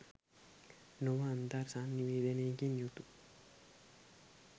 නොව අන්තර් සන්නිවේදනයකින් යුතු